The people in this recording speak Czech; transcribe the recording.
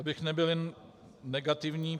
Abych nebyl jen negativní.